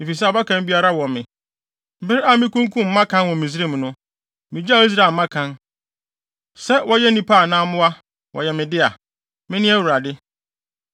efisɛ abakan biara wɔ me. Bere a mikunkum mmakan wɔ Misraim no, migyaw Israel mmakan, sɛ wɔyɛ nnipa anaa mmoa. Wɔyɛ me dea. Mene Awurade.”